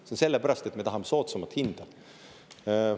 See on sellepärast, et me tahame soodsamat hinda.